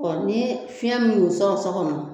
Inyni fiɲɛ min sɔn sɔgo ma